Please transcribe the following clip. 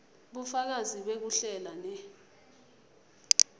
bufakazi bekuhlela ne